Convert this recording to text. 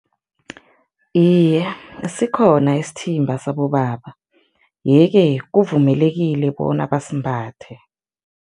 Iye, sikhona isithimba sabobaba, yeke kuvumelekile bona basimbathe.